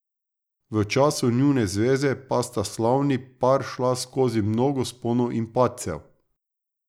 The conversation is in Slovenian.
V času njune zveze pa sta slavni par šla skozi mnogo vzponov in padcev.